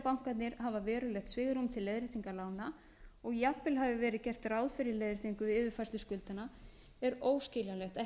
bankarnir hafa verulegt svigrúm til leiðréttingar lána og að jafnvel hafi verið gert ráð fyrir leiðréttingu við yfirfærslu skuldanna er óskiljanlegt að